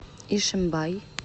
ишимбай